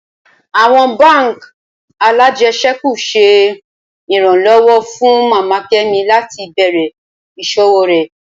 Awọn bánk alájẹsẹ́kù ṣe iranlọwọ fun Mama Kemi lati bẹrẹ iṣowo rẹ